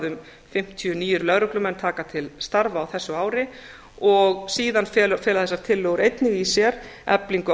um fimmtíu nýir lögreglumenn taka til starfa á þessu ári og síðan fela þessar tillögur einnig í sér eflingu